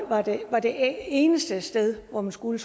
eneste sted hvor man skulle